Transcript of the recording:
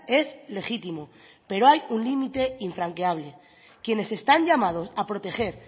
es legítimo pero hay un límite infranqueable quienes están llamados a proteger